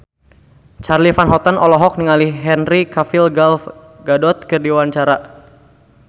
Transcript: Charly Van Houten olohok ningali Henry Cavill Gal Gadot keur diwawancara